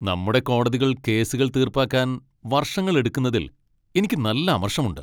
നമ്മുടെ കോടതികൾ കേസുകൾ തീർപ്പാക്കാൻ വർഷങ്ങളെടുക്കുന്നതിൽ എനിക്ക് നല്ല അമർഷമുണ്ട്.